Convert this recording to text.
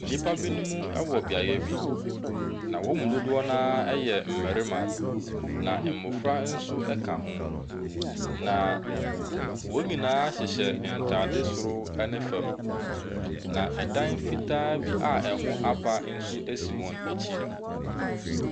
Nnipa binom wɔ beaeɛ bi. Na wɔn mu dodoɔ no ara yɛ mmarima, na mmɔfra nso ka ho. Na wɔn nyinaa hyehyɛ ntadeɛ soro ne fam. Na dan fitaa bi a ɛho apa nso si wɔn akyi.